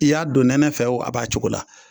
I y'a don nɛnɛ fɛ o a b'a cogo la.